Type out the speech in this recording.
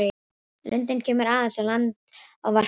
Lundinn kemur aðeins á land á varptíma.